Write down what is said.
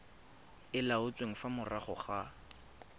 e laotsweng fa morago ga